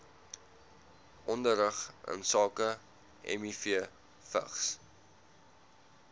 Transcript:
onderrig insake mivvigs